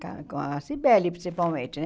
com a com a Cybele, principalmente, né?